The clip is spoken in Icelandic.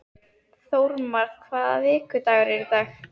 Þórmar, hvaða vikudagur er í dag?